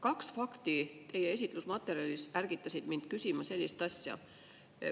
Kaks fakti teie esitlusmaterjalis ärgitasid mind küsima sellist asja.